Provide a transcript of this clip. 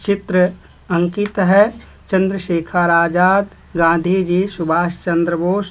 चित्र अंकित है। चंद्रशेखर आजाद गांधी जी सुभाष चंद्र बोस--